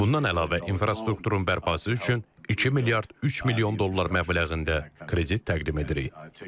Bundan əlavə infrastrukturun bərpası üçün 2 milyard 3 milyon dollar məbləğində kredit təqdim edirik.